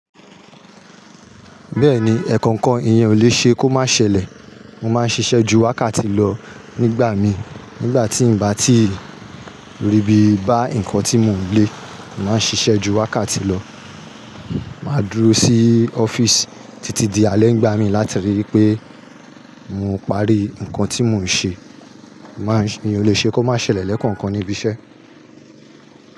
Bẹ́ẹ̀ni, ẹ̀ẹ̀kọ̀kan ìyẹn ò le ṣe kó má ṣẹlẹ̀. Mo máa ń ṣiṣẹ́ ju wákàtí lọ nígbà mi, nígbà tí ń bá ti rí bí bá nǹkan tí mò ń lé, mo máa ń ṣiṣẹ́ ju wákàtí lọ. Mà á dúró sí ọ́fíìsì títí di alẹ́ nígbà mí láti rí i pé mo parí nǹkan tí mò ń ṣe. Máa ń se, iyen olè ṣe kó má ṣẹlẹ̀ lẹ́ẹ̀kọ̀kan níbi iṣẹ́.